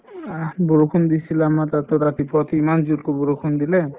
অহ্, বৰষুণ দিছিলে আমাৰ তাতো ৰাতিপুৱা উঠি ইমান জোৰকৈ বৰষুণ দিলে